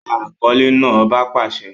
Gba akọle naa! ọba pàṣẹ!